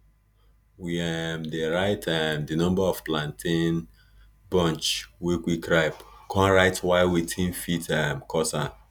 we um dey write um di number of plantain bunch wey quick ripe con write why wetin fit um cause am